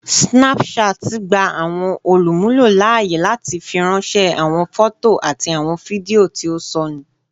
Snapchat gba awọn olumulo laaye lati firanṣẹ awọn fọto ati awọn fidio ti o sọnu.